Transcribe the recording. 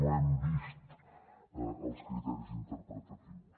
no hem vist els criteris interpretatius